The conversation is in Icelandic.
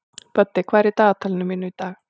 Böddi, hvað er í dagatalinu mínu í dag?